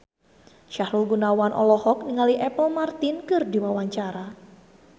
Sahrul Gunawan olohok ningali Apple Martin keur diwawancara